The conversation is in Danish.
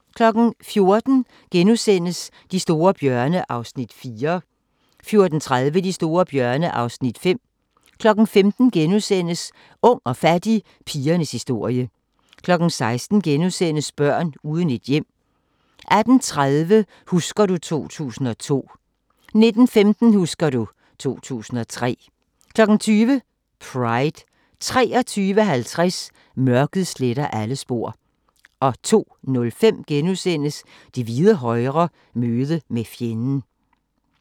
14:00: De store bjørne (Afs. 4)* 14:30: De store bjørne (Afs. 5) 15:00: Ung og fattig – pigernes historie * 16:00: Børn uden et hjem * 18:30: Husker du ... 2002 19:15: Husker du ... 2003 20:00: Pride 23:50: Mørket sletter alle spor 02:05: Det hvide højre – møde med fjenden *